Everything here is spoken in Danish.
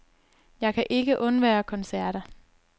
Jeg kan ikke undvære koncerter.